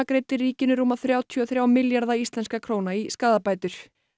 greiddi ríkinu rúma þrjátíu og þrjá milljarða íslenskra króna í skaðabætur